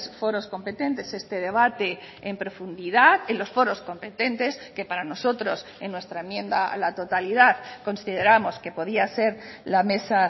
foros competentes este debate en profundidad en los foros competentes que para nosotros en nuestra enmienda a la totalidad consideramos que podía ser la mesa